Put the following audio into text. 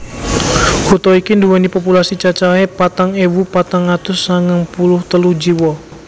Kutha iki nduwèni populasi cacahé patang ewu patang atus sangang puluh telu jiwa